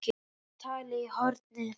Kobbi talaði í hornið.